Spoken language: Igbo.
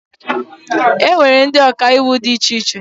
Enwere ụdị Ọkaiwu dị iche iche